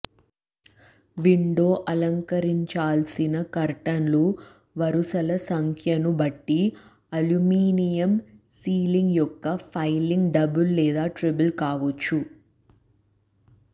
window అలంకరించాల్సిన కర్టన్లు వరుసల సంఖ్యను బట్టి అల్యూమినియం సీలింగ్ యొక్క పైలింగ్ డబుల్ లేదా ట్రిపుల్ కావచ్చు